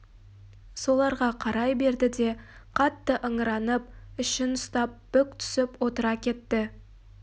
соларға қарай берді де қатты ыңыранып ішін ұстап бүк түсіп отыра кетті